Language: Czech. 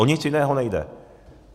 O nic jiného nejde.